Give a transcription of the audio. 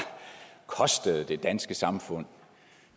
kostede det danske samfund